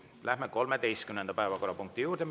Läheme 13. päevakorrapunkti juurde.